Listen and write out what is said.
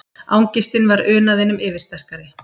Angistin var unaðinum yfirsterkari.